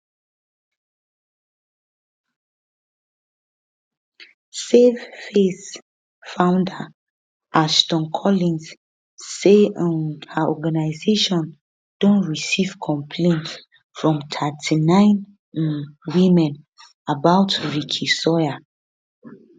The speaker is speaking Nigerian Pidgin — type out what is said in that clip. save face founder ashton collins say um her organisation don receive complaints from 39 um women about ricky sawyer